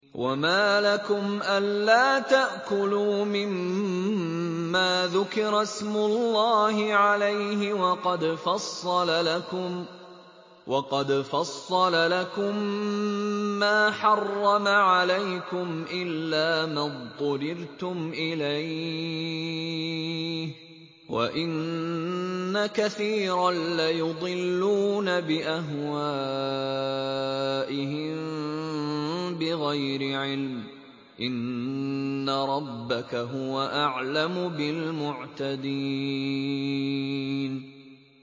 وَمَا لَكُمْ أَلَّا تَأْكُلُوا مِمَّا ذُكِرَ اسْمُ اللَّهِ عَلَيْهِ وَقَدْ فَصَّلَ لَكُم مَّا حَرَّمَ عَلَيْكُمْ إِلَّا مَا اضْطُرِرْتُمْ إِلَيْهِ ۗ وَإِنَّ كَثِيرًا لَّيُضِلُّونَ بِأَهْوَائِهِم بِغَيْرِ عِلْمٍ ۗ إِنَّ رَبَّكَ هُوَ أَعْلَمُ بِالْمُعْتَدِينَ